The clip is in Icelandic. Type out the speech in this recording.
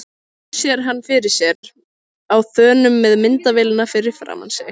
Hún sér hann fyrir sér á þönum með myndavélina fyrir framan sig.